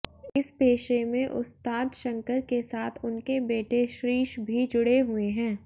इस पेशे में उस्ताद शंकर के साथ उनके बेटे श्रीश भी जुड़े हुए हैं